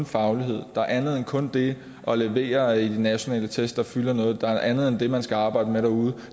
faglighed der er andet end kun det at levere i nationale test der fylder noget der er andet end det man skal arbejde med derude